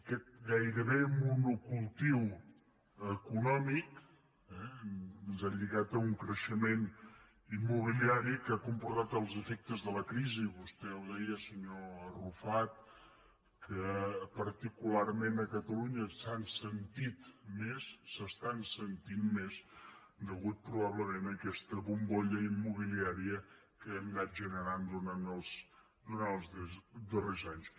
aquest gairebé monocultiu econòmic eh ens ha lli·gat a un creixement immobiliari que ha comportat els efectes de la crisi vostè ho deia senyor arrufat que particularment a catalunya s’han sentit més s’estan sentint més a causa probablement d’aquesta bombolla immobiliària que hem anat generant durant els darrers anys